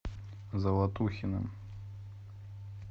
золотухиным